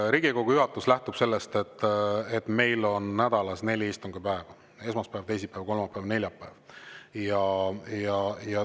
Riigikogu juhatus lähtub sellest, et meil on nädalas neli istungipäeva: esmaspäev, teisipäev, kolmapäev ja neljapäev.